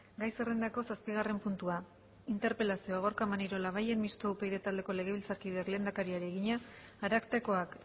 gai zerrendako zazpigarren puntua interpelazioa gorka maneiro labayen mistoa upyd taldeko legebiltzarkideak lehendakariari egina arartekoak